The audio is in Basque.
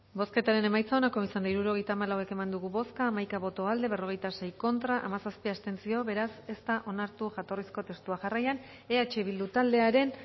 bozketaren emaitza onako izan da hirurogeita hamalau eman dugu bozka hamaika boto aldekoa berrogeita sei contra hamazazpi abstentzio beraz ez da onartu jatorrizko testua jarraian eh bildu taldearen